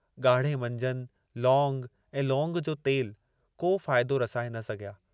ॻाढ़े मंजन, लौंग ऐं लौंग जो तेल, को फ़ाइदो रसाए न सघिया।